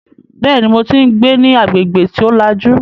Bẹ́ẹ̀ni, mo tí ń gbé ní agbègbè tí ó lajú